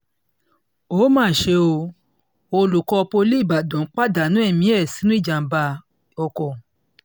ó mà ṣe o olùkọ́ poli ìbàdàn pàdánù ẹ̀mí ẹ̀ sínú ìjàm̀bá sínú ìjàm̀bá ọkọ̀